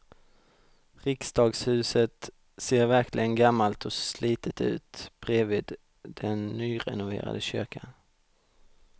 Riksdagshuset ser verkligen gammalt och slitet ut bredvid den nyrenoverade kyrkan.